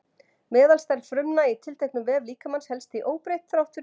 meðalstærð frumna í tilteknum vef líkamans helst því óbreytt þrátt fyrir frumuskiptingar